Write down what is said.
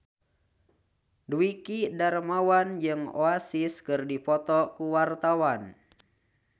Dwiki Darmawan jeung Oasis keur dipoto ku wartawan